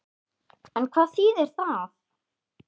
En hvað þýðir það?